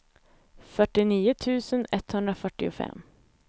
fyrtionio tusen etthundrafyrtiofem